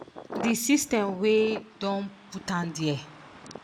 di system wey don put dem dia